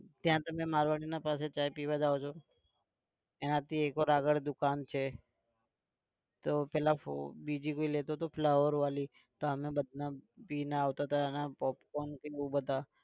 ત્યાં તમે મારવાડી ના પાસે ચા પીવા જાઓ છો. એનાથી એક और આગળ દુકાન છે તો પહેલા બીજી भी લેતો હતો flower વાળી તો અમે બધા પી ને આવતા હતા બહુ બધા